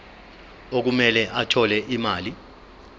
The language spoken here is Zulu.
okumele athole imali